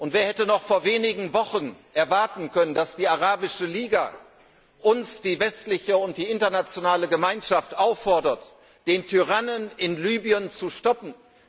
Wer hätte noch vor wenigen Wochen erwarten können, dass die Arabische Liga uns, die westliche und die internationale Gemeinschaft auffordert, den Tyrannen in Libyen zu stoppen?